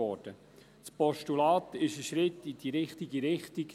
Das Postulat ist ein Schritt in die richtige Richtung.